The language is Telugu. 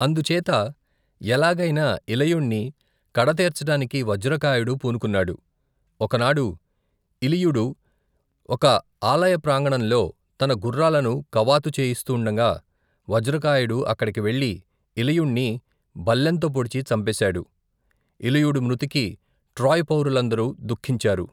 అందుచేత, ఎలాగైనా ఇలయుణ్ణి కడతేర్చటానికి వజ్రకాయుడు పూనుకున్నాడు, ఒకనాడు ఇలియుడు ఒక ఆలయప్రాంగణంలో, తన గుఱ్ఱాలను కవాతు చేయిస్తుండగా, వజ్రకాయుడు అక్కడికి వెళ్లి ఇలియుణ్ణి బల్లెంతో పొడిచి చంపేశాడు, ఇలియుడు మృతికి ట్రోయ్ పౌరులందరూ ధుఃఖించారు.